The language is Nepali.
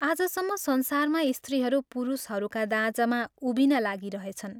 आजसम्म संसारमा स्त्रीहरू पुरुषहरूका दाँजामा उभिन लागिरहेछन्।